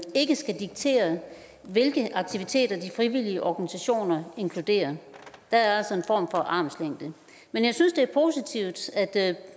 skal diktere hvilke aktiviteter de frivillige organisationer inkluderer der er altså en form for armslængde men jeg synes det er positivt at